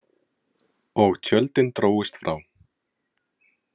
Og tjöldin drógust frá.